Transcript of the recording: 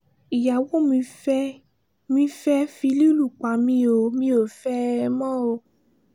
ìyàwó mi fẹ́ẹ́ mi fẹ́ẹ́ fi lílù pa mí o mi ò fẹ́ ẹ mọ́